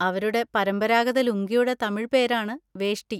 അവരുടെ പരമ്പരാഗത ലുങ്കിയുടെ തമിഴ് പേരാണ് വേഷ്ടി.